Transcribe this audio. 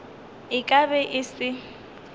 e ka be e se